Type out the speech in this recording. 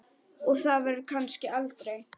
Og það verður kannski aldrei.